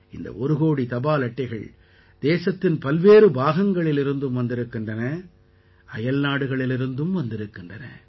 இந்த ஒரு கோடி தபால் அட்டைகள் தேசத்தின் பல்வேறு பாகங்களிலிருந்தும் வந்திருக்கின்றன அயல்நாடுகளிலிருந்தும் வந்திருக்கின்றன